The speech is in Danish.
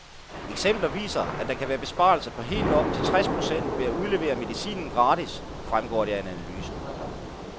Eksempler viser, at der kan være besparelser på helt op til tres procent ved at udlevere medicinen gratis, fremgår det af en analyse.